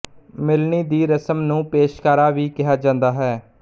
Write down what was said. ਮਿਲਣੀ ਦੀ ਰਸ਼ਮ ਨੂੰ ਪੇਸ਼ਕਾਰਾ ਵੀ ਕਿਹਾ ਜਾਂਦਾ ਹੈ